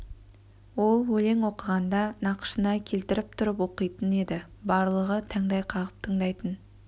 ол өлең оқығанда нақышына келтіріп тұрып оқитын еді барлығы таңдай қағып тыңдайтын